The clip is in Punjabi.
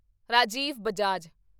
ਰਾਜੀਵ ਬਜਾਜ